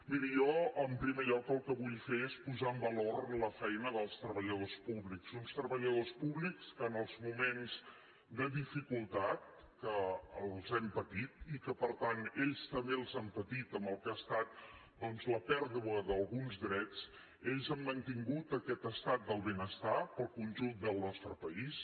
miri jo en primer lloc el que vull fer és posar en valor la feina dels treballadors públics uns treballadors públics que en els moments de dificultat que els hem patit i que per tant ells també els han patit amb el que ha estat doncs la pèrdua d’alguns drets ells han mantingut aquest estat del benestar per al conjunt del nostre país